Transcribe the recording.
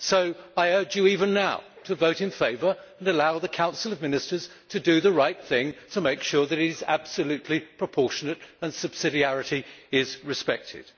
So I urge you, even now, to vote in favour and allow the Council of Ministers to do the right thing to make sure that it is absolutely proportionate and subsidiarity is respected.